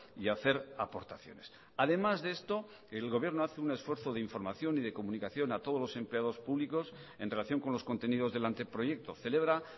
y hacer aportaciones además de esto el gobierno hace un esfuerzo de información y de comunicación a todos los empleados públicos en relación con los contenidos del anteproyecto celebra